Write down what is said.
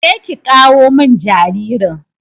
Je ki ƙawo min jaririn.